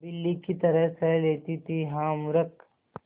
बिल्ली की तरह सह लेती थीहा मूर्खे